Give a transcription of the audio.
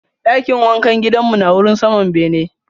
Dakin wankan gidan mu na wurin saman bene.